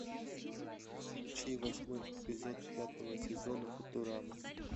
включи восьмой эпизод пятого сезона футурама